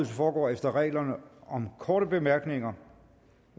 foregår efter reglerne om korte bemærkninger